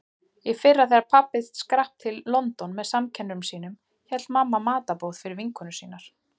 Í fyrra þegar pabbi skrapp til London með samkennurum sínum hélt mamma matarboð fyrir vinkonur sínar.